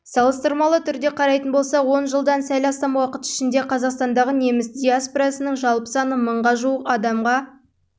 салыстырмалы түрде қарайтын болсақ он жылдан сәл астам уақыт ішінде қазақстандағы неміс диаспорасының жалпы саны мыңға жуық адамға